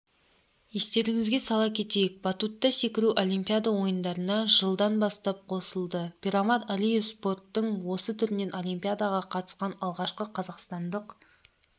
естеріңізге сала кетейік батутта секіру олимпиада ойындарына жылдан бастап қосылды пирмамад алиев спорттың осы түрінен олимпиадаға қатысқан алғашқы қазақстандық